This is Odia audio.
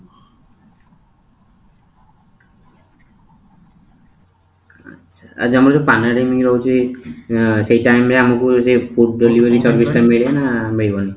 ଆଚ୍ଛା, ଆମର ଯୋଉ pandemic ରହୁଛି ଉଁ ସେଇ time ରେ ଆମକୁ ଯଦି food delivery service ତା ମିଳିବ ନା ମିଳିବନି?